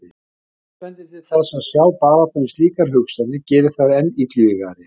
Margt bendir til þess að sjálf baráttan við slíkar hugsanir geri þær enn illvígari.